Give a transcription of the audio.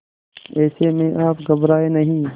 ऐसे में आप घबराएं नहीं